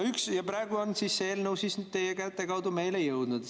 Praegu on see eelnõu teie käte kaudu meile jõudnud.